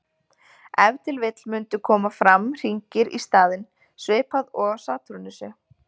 Ef til vill mundu koma fram hringir í staðinn, svipað og á Satúrnusi.